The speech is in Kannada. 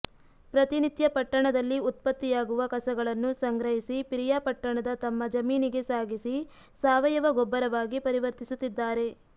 ಪ್ರತಿನಿತ್ಯ ಪಟ್ಟಣದಲ್ಲಿ ಉತ್ಪತ್ತಿಯಾಗುವ ಕಸಗಳನ್ನು ಸಂಗ್ರಹಿಸಿ ಪಿರಿಯಾಪಟ್ಟಣದ ತಮ್ಮ ಜಮೀನಿಗೆ ಸಾಗಿಸಿ ಸಾವಯವ ಗೊಬ್ಬರವಾಗಿ ಪರಿವರ್ತಿಸುತ್ತಿದ್ದಾರೆ